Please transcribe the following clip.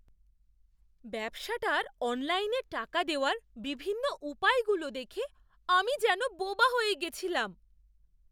ব্যবসাটার অনলাইনে টাকা দেওয়ার বিভিন্ন উপায়গুলো দেখে আমি যেন বোবা হয়ে গেছিলাম।